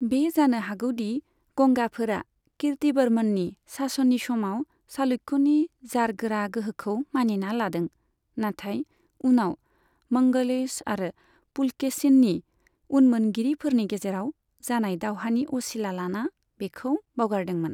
बे जानो हागौ दि गंगाफोरा कीर्तिवर्मननि शासननि समाव चालुक्यनि जारगोरा गोहोखौ मानिना लादों, नाथाय उनाव मंगलेश आरो पुलकेशिननि उनमोनगिरिफोरनि गेजेराव जानाय दावहानि असिला लाना बेखौ बावगारदोंमोन।